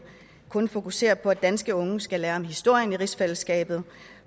kun fokuserer på at danske unge skal lære om historien i rigsfællesskabet